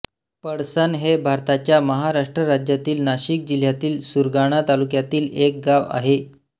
पळसण हे भारताच्या महाराष्ट्र राज्यातील नाशिक जिल्ह्यातील सुरगाणा तालुक्यातील एक गाव आहे